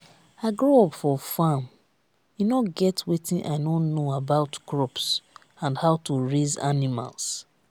i grow up for farm e no get wetin i no know about crops and how to raise animals